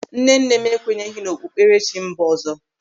Nnenne m ekwenyeghị n'okpukperechi mba ọzọ.